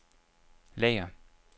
lager